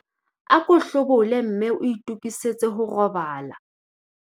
ako hlobole mme o itokisetse ho robala